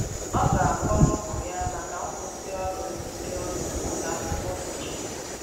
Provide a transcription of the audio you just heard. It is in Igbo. Ọ ga akọrọ ụmụ ya maka nkwụsi ọrụ ndi ọrụ mgbe ụlọ akwụkwo mecheri.